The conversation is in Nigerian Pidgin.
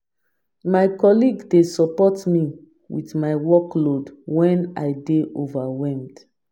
My colleague dey support me with my workload when I dey overwhelmed.